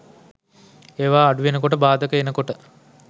ඒවා අඩුවෙන කොට බාධක එනකොට